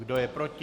Kdo je proti?